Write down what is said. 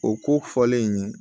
O ko fɔlen in ye